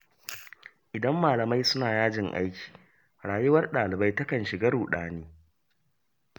Idan malamai suna yajin aiki rayuwar ɗalibai takan shiga ruɗani.